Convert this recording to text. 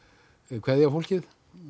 kveðja fólkið